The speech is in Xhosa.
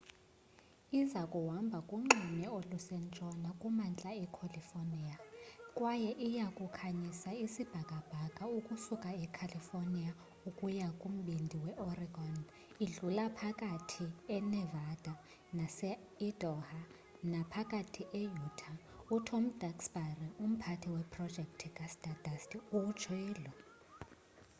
iza kuhamba kunxweme olusentshona kumantla ecalifornia kwaye iya kukhanyisa isibhakabhaka ukusuka ecalifornia ukuya kumbindi weoregon idlule phakathi enevada naseidaho naphakathi e-utah utom duxbury umphathi weprojekthi kastardust utshilo